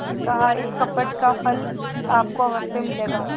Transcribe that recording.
कहाइस कपट का फल आपको अवश्य मिलेगा